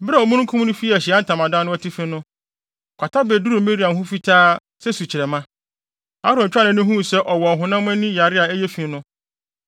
Bere a omununkum no fii Ahyiae Ntamadan no atifi no, kwata beduruu Miriam ho fitaa sɛ sukyerɛmma. Aaron twaa nʼani huu sɛ ɔwɔ ɔhonam ani yare a ɛyɛ fi no,